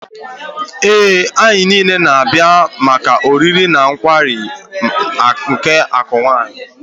Ee, anyị niile na-abịa maka oriri na nkwari akụ Wine.